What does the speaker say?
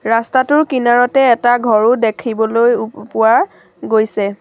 ৰাস্তাটোৰ কিনাৰতে এটা ঘৰও দেখিবলৈ উ প পোৱা গৈছে।